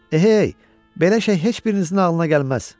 Ehey, belə şey heç birinizin ağlına gəlməz!